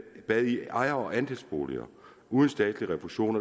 bad i ejer og andelsboliger uden statslig refusion